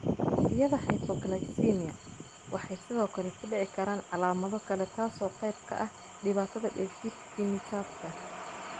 Waqtiyada hypoglycemia waxay sidoo kale ku dhici karaan calaamado kale taasoo qayb ka ah dhibaatada dheef-shiid kiimikaadka.